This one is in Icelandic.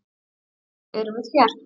Og nú erum við hér.